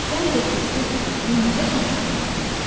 Səncə Tülkü Durnanı necə qonaq etməli idi?